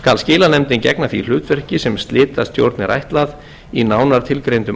skal skilanefndin gegna því hlutverki sem slitastjórn er ætlað í nánar tilgreindum